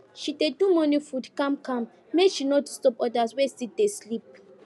she dey do morning food calm calm make she no disturb others wey still dey sleep